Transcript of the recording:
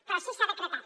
però sí que s’ha decretat